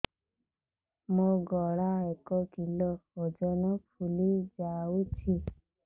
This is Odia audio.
ମୋ ଗଳା ଏକ କିଲୋ ଓଜନ ଫୁଲି ଯାଉଛି